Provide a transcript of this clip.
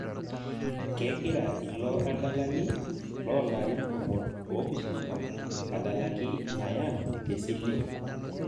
Kegira ilo adalani lolarin tomon opishana adalaki nayern tesile